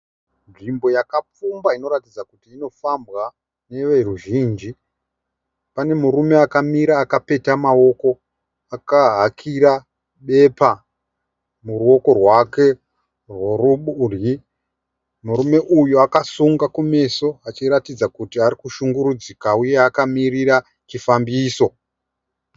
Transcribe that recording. Nzvimbo yakapfumba inoratidza kuti inofambwa novoruzhinji. Pane murume akamira akapeta maoko akahakira bepa muruoko rwake rwokurudyi. Murume uyu akasunga kumeso achiratidza kuti ari kushunguridzika achiratidza kuti akamirira chifambiso.